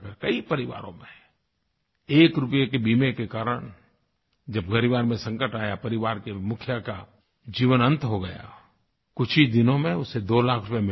कई परिवारों में एक रूपये के बीमे के कारण जब ग़रीब आदमी पर संकट आया परिवार के मुखिया का जीवन अंत हो गया कुछ ही दिनों में उसे 2 लाख रूपये मिल गए